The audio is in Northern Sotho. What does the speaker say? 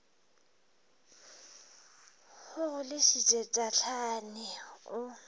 o go lešitše tahlane o